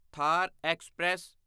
Thar express